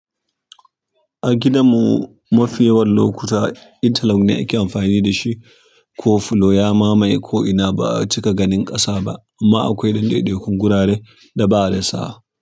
A gidan mu mafi yawan okuta inter lock ne ake amfani da shi ko filo ya mamaye ko'ina ba'a cika ganin ƙasa ba amma akwai danɗeɗekun gurare da ba a rasa.